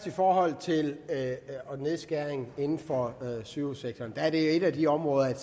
i forhold til nedskæringer inden for sygehussektoren at et af de områder